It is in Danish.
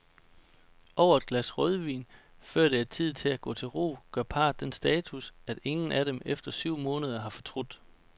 Over et glas rødvin, før det er tid at gå til ro, gør parret den status, at ingen af dem efter syv måneder har fortrudt.